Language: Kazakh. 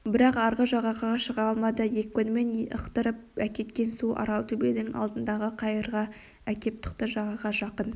бірақ арғы жағаға шыға алмады екпінімен ықтырып әкеткен су аралтөбенің алдындағы қайырға әкеп тықты жағаға жақын